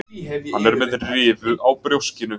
Hann er með rifu á brjóskinu.